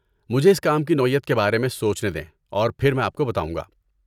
مجھے اس کام کی نوعیت کے بارے میں سوچنے دیں اور پھر میں آپ کو بتاؤں گا۔